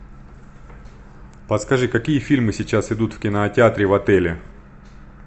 подскажи какие фильмы сейчас идут в кинотеатре в отеле